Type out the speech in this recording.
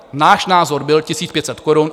Náš názor byl 1 500 korun.